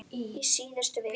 Í síðustu viku.